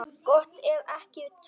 Gott ef ekki tveir.